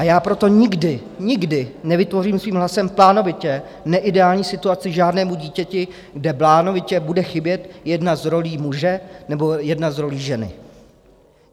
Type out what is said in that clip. A já proto nikdy, nikdy nevytvořím svým hlasem plánovitě neideální situaci žádnému dítěti, kde plánovitě bude chybět jedna z rolí - muže, nebo jedna z rolí - ženy.